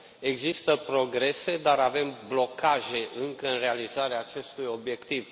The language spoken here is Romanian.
Există progrese, dar avem blocaje încă, în realizarea acestui obiectiv.